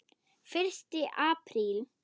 FYRSTI APRÍL